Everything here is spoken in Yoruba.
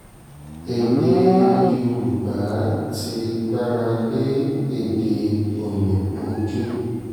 èdè èdè yorùbá ti gbára lé èdè òyìnbó jù